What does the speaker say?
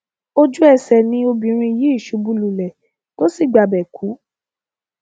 ojúẹsẹ ni obìnrin yìí ṣubú lulẹ tó sì gbabẹ kú